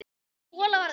Sú hola varð um